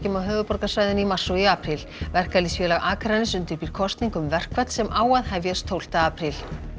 á höfuðborgarsvæðinu í mars og apríl verkalýðsfélag Akraness undirbýr kosningu um verkfall sem á að hefjast tólfta apríl